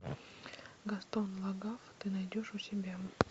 гастон лагафф ты найдешь у себя